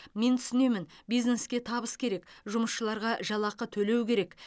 мен түсінемін бизнеске табыс керек жұмысшыларға жалақы төлеу керек